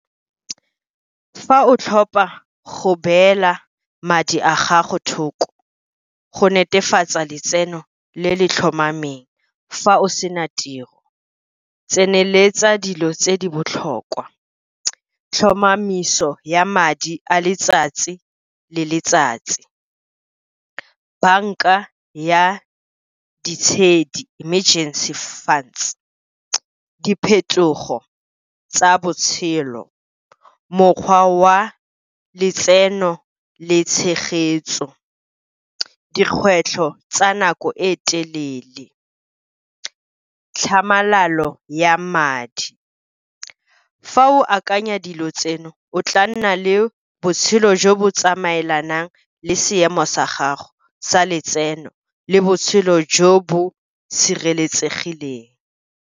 Fa o tlhopa go beela madi a gago thoko go netefatsa letseno le le tlhomameng fa o sena tiro, tseneletsa dilo tse di botlhokwa, tlhomamiso ya madi a letsatsi le letsatsi, banka ya ditshedi, emergency funds, diphetogo tsa botshelo, mokgwa wa letseno le tshegetso, dikgwetlho tsa nako e telele, tlhamalalo ya madi. Fa o akanya dilo tseno, o tla nna le botshelo jo bo tsamaelanang le seemo sa gago sa letseno le botshelo jo bo sireletsegileng.